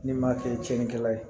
N'i m'a kɛ tiɲɛnikɛla ye